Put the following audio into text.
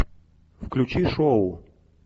включи шоу